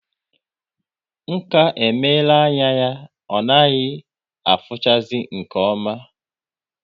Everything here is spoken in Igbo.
Nka emela anya ya ọ naghị afuchazi nke oma